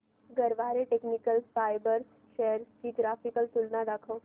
Garware technical fibres shares ची graphical तुलना दाखव